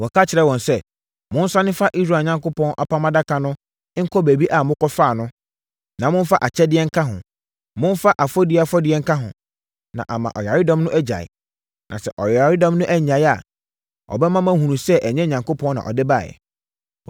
Wɔka kyerɛɛ wɔn sɛ, “Monsane mfa Israel Onyankopɔn Apam Adaka no nkɔ baabi a mokɔfaa no, na momfa akyɛdeɛ nka ho. Momfa afɔdie afɔdeɛ nka ho, na ama ɔyaredɔm no agyae. Na sɛ ɔyaredɔm no annyae a, ɛbɛma moahunu sɛ ɛnyɛ Onyankopɔn na ɔde baeɛ.”